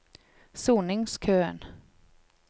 soningskøen